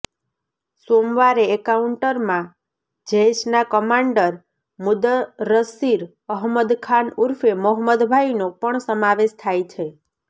સોમવારે એન્કાઉન્ટરમાં જૈશના કમાન્ડર મુદસ્સીર અહમદ ખાન ઉર્ફે મોહમ્મદ ભાઈનો પણ સમાવેશ થાય છે